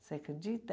Você acredita?